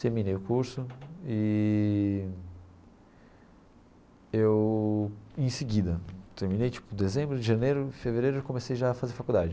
Terminei o curso e eu, em seguida, terminei tipo dezembro, janeiro, fevereiro eu comecei já a fazer faculdade.